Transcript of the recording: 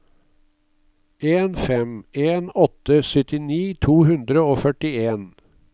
en fem en åtte syttini to hundre og førtien